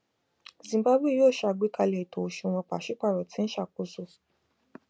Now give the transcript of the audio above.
zimbabwe yoo ṣe agbekalẹ eto oṣuwọn paṣipaarọ ti n ṣakoso